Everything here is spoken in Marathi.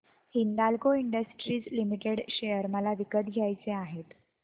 हिंदाल्को इंडस्ट्रीज लिमिटेड शेअर मला विकत घ्यायचे आहेत